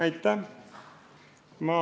Aitäh!